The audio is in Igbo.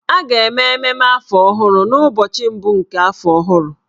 A ga-eme mmemme afọ ọhụrụ n'ụbọchị mbụ nke afọ ọhụrụ.